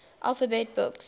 alphabet books